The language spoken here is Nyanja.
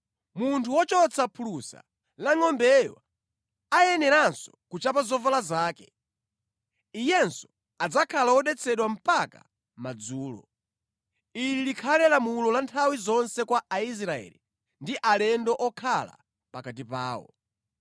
Munthu wochotsa phulusa la ngʼombeyo ayeneranso kuchapa zovala zake. Iyenso adzakhala wodetsedwa mpaka madzulo. Ili likhale lamulo la nthawi zonse kwa Aisraeli ndi alendo okhala pakati pawo.